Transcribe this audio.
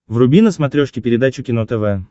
вруби на смотрешке передачу кино тв